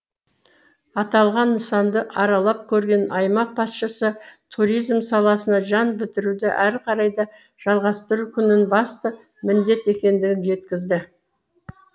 аталған нысанды аралап көрген аймақ басшысы туризм саласына жан бітіруді әрі қарай да жалғастыру күннің басты міндеті екендігін жеткізді